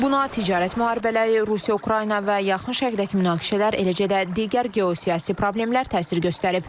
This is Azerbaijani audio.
Buna ticarət müharibələri, Rusiya-Ukrayna və yaxın şərqdəki münaqişələr, eləcə də digər geosiyasi problemlər təsir göstərib.